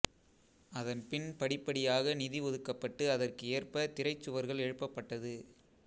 அதன் பின் படிப்படியாக நிதி ஒதுக்கப்பட்டு அதற்கு ஏற்ப திரைச் சுவர்கள் எழுப்பப்பட்டது